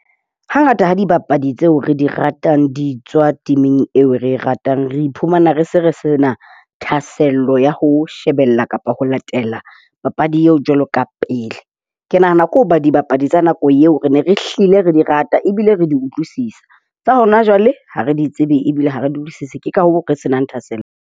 Hangata ha dibapadi tseo re di ratang, di tswa team-ing eo re ratang re iphumana re se re sena thahasello ya ho shebella kapa ho latela papadi eo jwalo ka pele. Ke nahana ke hoba dibapadi tsa nako eo, re ne re hlile re di rate ebile re di utlwisisa. Tsa hona jwale, ha re di tsebe ebile ha re di utlwisise ke ka hoo re se nang thahasello.